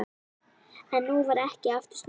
En nú var ekki aftur snúið.